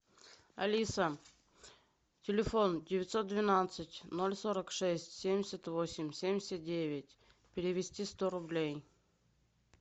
алиса телефон девятьсот двенадцать ноль сорок шесть семьдесят восемь семьдесят девять перевести сто рублей